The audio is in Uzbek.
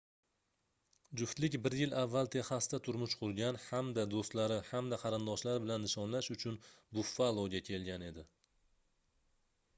juftlik bir yil avval texasda turmush qurgan hamda doʻstlari hamda qarindoshlari bilan nishonlash uchun buffaloga kelgan edi